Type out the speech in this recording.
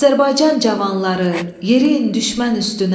Azərbaycan cavanları, yeriyin düşmən üstünə.